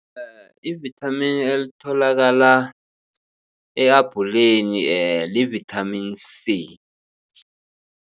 IIvithamini elitholakala e-abhuleni livithamini C.